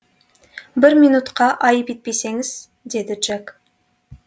бір минутқа айып етпесеңіз деді джек